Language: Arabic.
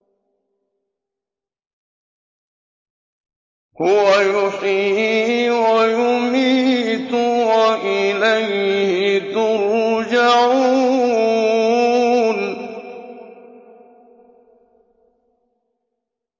هُوَ يُحْيِي وَيُمِيتُ وَإِلَيْهِ تُرْجَعُونَ